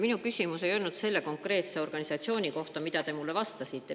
Minu küsimus ei olnud selle konkreetse organisatsiooni kohta, mille kohta te mulle vastasite.